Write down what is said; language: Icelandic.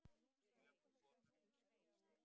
Þegar við komum í